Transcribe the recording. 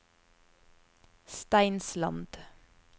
Steinsland